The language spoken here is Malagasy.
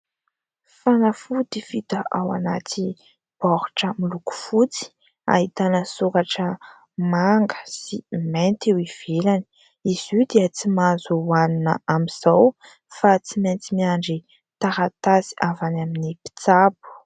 Fanafody vita ao anaty baoritra miloko fotsy ahitana soratra manga sy mainty eo ivelany. Izy io dia tsy mahazo hoanina amin'izao fa tsy maintsy miandry taratasy avy any amin'ny mpitsabo.